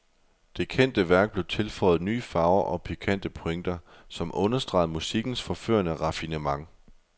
Det kendte værk blev tilføjet nye farver og pikante pointer, som understregede musikkens forførende raffinement.